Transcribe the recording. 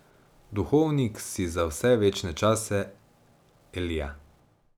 Duhovnik si za vse večne čase, Elija.